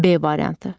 B variantı.